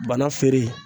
Bana feere